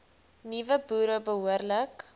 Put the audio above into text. nuwe boere behoorlik